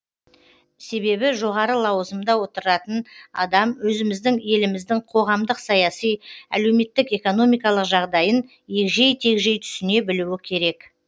себебі жоғары лауазымда отыратын адам өзіміздің еліміздің қоғамдық саяси әлеуметтік экономикалық жағдайын егжей тегжей түсіне білуі керек